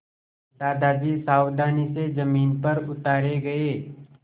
दादाजी सावधानी से ज़मीन पर उतारे गए